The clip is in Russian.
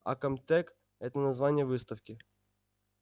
а комтек это название выставки